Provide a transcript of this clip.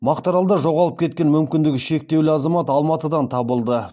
мақтааралда жоғалып кеткен мүмкіндігі шектеулі азамат алматыдан табылды